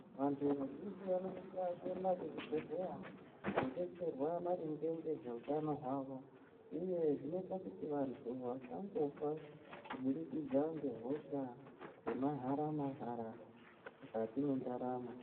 Vantu vazhinji vanosisa kuenda kuzvibhedhleya kunodetserwa maringe ngezveutano hwavo, uye zvinoita kuti vantu vasangofa kubudikidza ngehosha dzemahara-mahara mwukati mwendaramo.